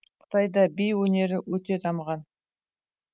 қытайда би өнері өте дамыған